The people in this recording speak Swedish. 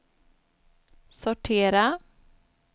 sortera